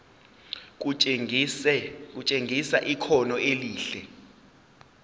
kutshengisa ikhono elihle